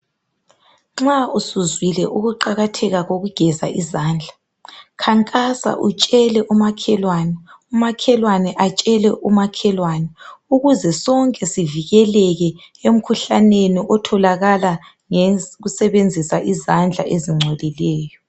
Nxa usuzwile ukuqakatheka kokugeza izandla khankasa utshele umakhelwane umakhelwane atshele umakhelwane ukuze sonke sivikeleke emkhuhlaneni otholakala ngokusebenzisa izandla ezingcolileyo